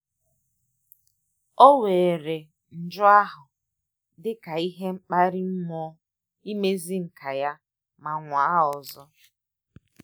O weere nju ahụ dị ka ihe mkpali mmụọ imezi nka ya ma nwaa ọzọ